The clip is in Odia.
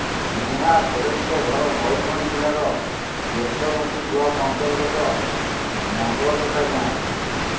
ସ୍ନେହା ସୋରେନଙ୍କ ଘର ମୟୂରଭଞ୍ଜ ଜିଲ୍ଲାର ବେତନଟୀ ବ୍ଲକ୍ ଅନ୍ତର୍ଗତ ନଙ୍ଗଳକଟା ଗାଁରେ